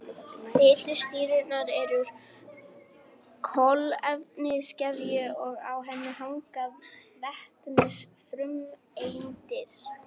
Fitusýrurnar eru úr kolefniskeðju og á henni hanga vetnisfrumeindir.